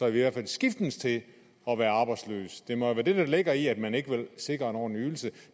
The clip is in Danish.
i hvert fald skiftes til at være arbejdsløse det må være det der ligger i at man ikke vil sikre en ordentlig ydelse